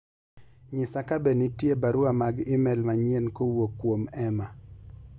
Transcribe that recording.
nyisa kabe nitie barua mag email manyien kowuok kuom Emma